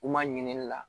U ma ɲinini la